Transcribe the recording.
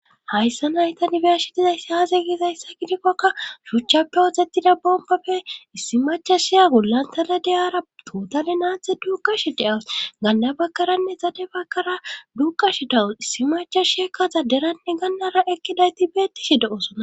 hayssa naytani be'ashidizayssi haaze gizayssa gidikkokka shuchcha powodzettida bombapfe issi macha shiya gullantaledeyara tootali naathe duukash de7aws ganda bakkaranne zade bakkara duuqash dawus issi macha shiakka zaderanne gannara ekkidayti beettishi de7osona